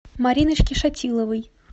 мариночки шатиловой